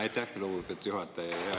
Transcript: Aitäh, lugupeetud juhataja!